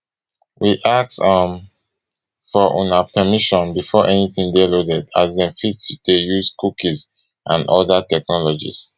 we ask um for una permission before anytin dey loaded as dem fit dey use cookies and oda technologies